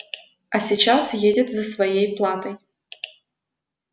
а сейчас едет за своей платой